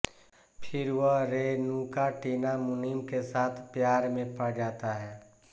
फिर वह रेनुका टीना मुनीम के साथ प्यार में पड़ जाता है